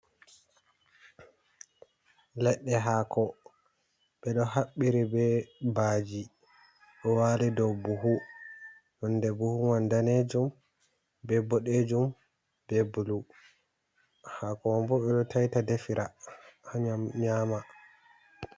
Leɗɗe hako ɓe ɗo haɓɓiri be baji ɗo wali dou buhu nonde buhu man danejum be boɗejum be bulu, hako bo ɓe ɗo taita defira ha nyam nyama.